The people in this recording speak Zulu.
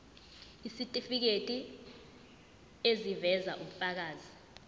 isitifiketi eziveza ubufakazi